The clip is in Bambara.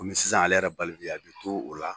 Komi sisan ale yɛrɛ balikuya bɛ to o la